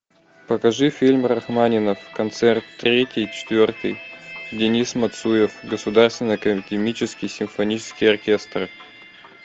покажи фильм рахманинов концерт третий четвертый денис мацуев государственный академический симфонический оркестр